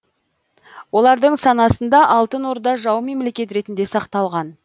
олардың санасында алтын орда жау мемлекет ретінде сақталған